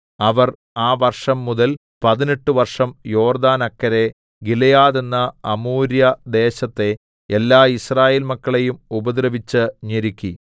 അവർ ആ വർഷംമുതൽ പതിനെട്ട് വർഷം യോർദ്ദാനക്കരെ ഗിലെയാദ് എന്ന അമോര്യദേശത്തെ എല്ലാ യിസ്രായേൽമക്കളെയും ഉപദ്രവിച്ചു ഞെരുക്കി